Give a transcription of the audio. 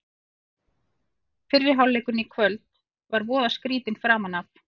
Fyrri hálfleikurinn í kvöld var voða skrýtinn framan af.